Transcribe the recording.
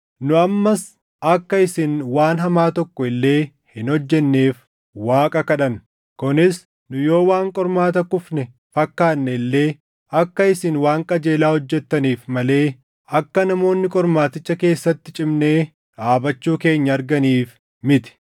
Nu ammas akka isin waan hamaa tokko illee hin hojjenneef Waaqa kadhanna. Kunis nu yoo waan qormaata kufne fakkaanne illee akka isin waan qajeelaa hojjettaniif malee akka namoonni qormaaticha keessatti cimnee dhaabachuu keenya arganiif miti.